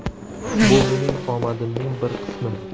Bu mening omadimning bir qismi.